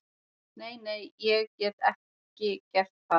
Nei, nei, ég get ekki gert það.